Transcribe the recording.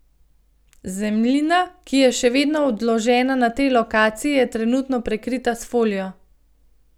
Zemljina, ki je še vedno odložena na tej lokaciji, je trenutno prekrita s folijo.